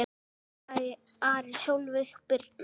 Freyr, Ari og Sólveig Birna.